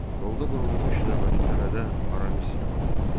Yolda qurulmuş növbəti tələdə Aramis yaralandı.